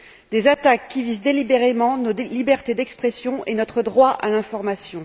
Ces attaques visent délibérément notre liberté d'expression et notre droit à l'information.